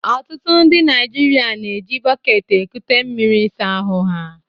Ọtụtụ ndị Naijiria na-eji bọket ekute mmiri ịsa ahụ ha.